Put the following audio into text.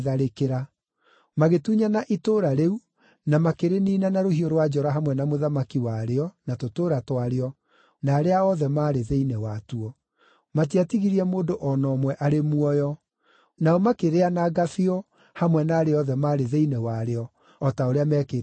Magĩtunyana itũũra rĩu, na makĩrĩniina na rũhiũ rwa njora hamwe na mũthamaki warĩo, na tũtũũra twarĩo, na arĩa othe maarĩ thĩinĩ watuo. Matiatigirie mũndũ o na ũmwe arĩ muoyo. Nao makĩrĩananga biũ hamwe na arĩa othe maarĩ thĩinĩ warĩo, o ta ũrĩa meekĩte Egiloni.